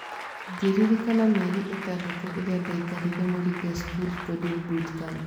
Ngĩririkana mĩeri ĩtandatũ ĩrĩa ndaikarire Moringa School Coding Bootcamp.